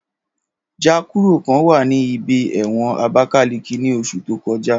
Ja kuro kan wa ni ibẹ̀ ẹ̀wọ̀n abakiliki ni oṣu to kọja.